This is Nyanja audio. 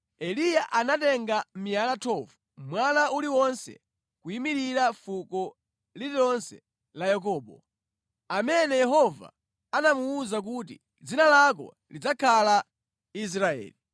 Eliya anatenga miyala 12, mwala uliwonse kuyimira fuko lililonse la Yakobo, amene Yehova anamuwuza kuti, “Dzina lako lidzakhala Israeli.”